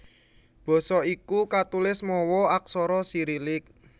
Basa iki katulis mawa aksara Sirilik